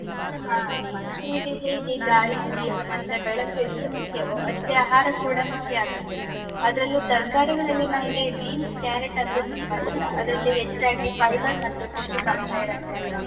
ಹಾ, ಮನುಷ್ಯನಿಗೆ ಹೇಗೆ ಗಾಳಿ, ನೀರು ಮತ್ತೆ ಬೆಳಕು ಎಷ್ಟು ಮುಖ್ಯವೋ, ಅಷ್ಟೇ ಆಹಾರ ಕೂಡ ಮುಖ್ಯ ಆಗತ್ತೆ. ಅದ್ರಲ್ಲೂ ತರ್ಕಾರಿಗಳಲ್ಲಿ ನನ್ಗೆ beans, carrot ಅಂದ್ರೆ ತುಂಬಾ ಇಷ್ಟ. ಅದ್ರಲ್ಲಿ ಹೆಚ್ಚಾಗಿ fiber ಮತ್ತೆ ಪೋಷಕಾಂಶ ಇರತ್ತೆ ಅಲ್ವಾ?